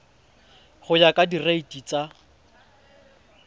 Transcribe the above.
go ya ka direiti tsa